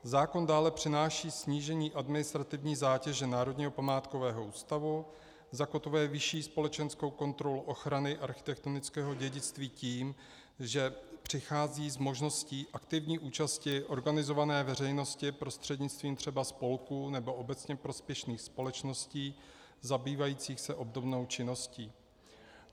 Zákon dále přináší snížení administrativní zátěže Národního památkového ústavu, zakotvuje vyšší společenskou kontrolu ochrany architektonického dědictví tím, že přichází s možností aktivní účasti organizované veřejnosti prostřednictvím třeba spolků nebo obecně prospěšných společností zabývajících se obdobnou činností.